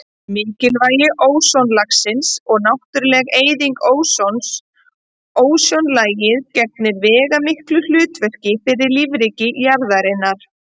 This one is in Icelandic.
Mikilvægi ósonlagsins og náttúruleg eyðing ósons Ósonlagið gegnir veigamiklu hlutverki fyrir lífríki jarðarinnar.